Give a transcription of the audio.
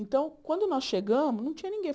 Então, quando nós chegamos, não tinha ninguém.